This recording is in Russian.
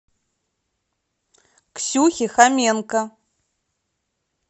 ксюхе хоменко